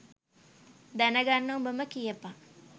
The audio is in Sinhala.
දැන ගන්න උඹම කියපන්.